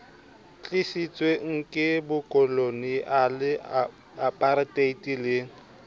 tlisitsweng ke bokoloniale aparteite le